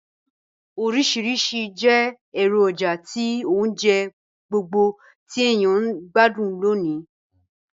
Ànamó orísìrísi je èròjà ti ounje gbogbo ti èyàn n gbádùn lónìí